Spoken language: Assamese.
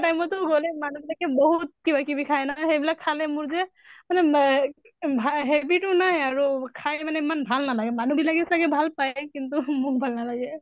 time তো গʼলে মানুহ বিলাকে বহুত কিবা কিবি খায় নহয়, সেই বিলাক খালে মোৰ যে মানে মে ভা habit তো নাই আৰু খাই মানে ইমান ভাল নালাগে। মানুহ বিলাকে চাগে ভাল পায়, কিন্তু মোক ভাল নালাগে।